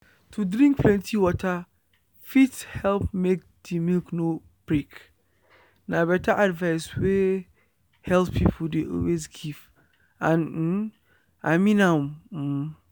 to drink plenty water fit help make the milk no break. na better advice wey health people dey always give… and um i mean am. um